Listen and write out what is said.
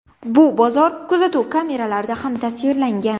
Bu bozor kuzatuv kameralarida ham tasvirlangan.